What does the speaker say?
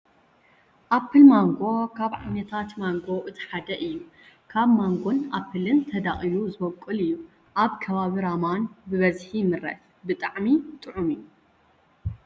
ኣፕል ማንጎ ካብ ዓይነታት ማንጎ እቲ ሓደ እዩ። ካብ ማንጎን ኣፕልን ተዳቂሉ ዝቦቅል እዩ። ኣብ ከባቢ ራማን ብበዝሒ ይምረት። ብጣዕሚ ጥዑም እዩ።